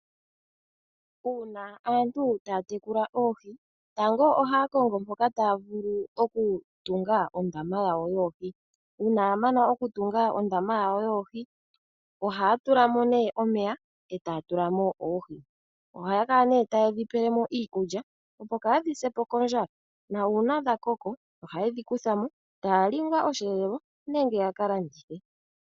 Uuna aantu taya tekula oohi, tango ohaya kongo mpoka taya vulu okutunga ondama yawo yoohi. Uuna ya mana okutunga ondama yawo yoohi, ohaya tula mo nee omeya, etaya tula mo oohi. Ohaya kala nduno taye dhi pele mo iikulya, opo kaadhi se po kondjala. Na uuna dha koko, ohaye dhi kutha mo, taya li ngaa osheelelwa nenge ya ka landithe.